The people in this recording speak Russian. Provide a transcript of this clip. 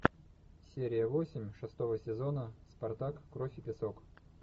серия восемь шестого сезона спартак кровь и песок